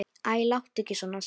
Æ, láttu ekki svona Sibbi